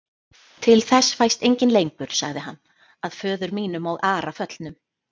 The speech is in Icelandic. Til þess fæst enginn lengur, sagði hann,-að föður mínum og Ara föllnum.